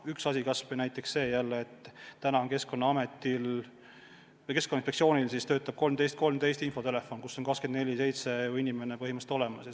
Üks asi on kas või näiteks see, et Keskkonnainspektsioonil töötab 1313 infotelefon, kus on 24/7 inimene põhimõtteliselt olemas.